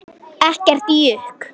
Ekkert jukk.